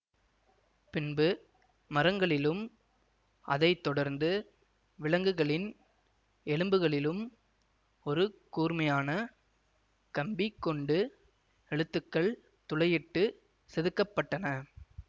பின்பு மரங்களிலும் அதை தொடர்ந்து விலங்குகளின் எலும்புகளிலும் ஒரு கூர்மையான கம்பி கொண்டு எழுத்துக்கள் துளையிட்டு செதுக்கப்பட்டன